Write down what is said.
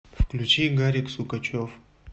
включи гарик сукачев